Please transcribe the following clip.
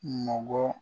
Nɔgɔn bɔ